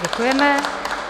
Děkujeme.